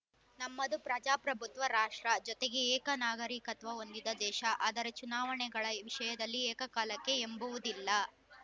ನಮ್ಮದು ಪ್ರಜಾಪ್ರಭುತ್ವ ರಾಷ್ಟ್ರ ಜೊತೆಗೆ ಏಕನಾಗರಿಕತ್ವ ಹೊಂದಿದ ದೇಶ ಆದರೆ ಚುನಾವಣೆಗಳ ವಿಷಯದಲ್ಲಿ ಏಕಕಾಲಕ್ಕೆ ಎಂಬುವುದಿಲ್ಲ